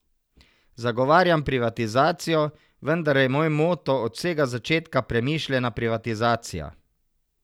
Zagovarjam privatizacijo, vendar je moj moto od vsega začetka premišljena privatizacija.